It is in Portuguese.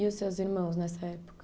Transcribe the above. E os seus irmãos nessa época?